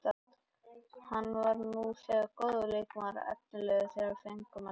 Hann var nú þegar góður leikmaður og efnilegur þegar við fengum hann hingað.